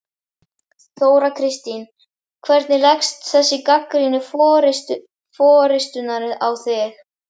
Þóra Kristín: Hvernig leggst þessi gagnrýni forystunnar á þig?